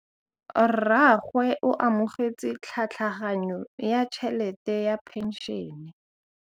Rragwe o amogetse tlhatlhaganyô ya tšhelête ya phenšene.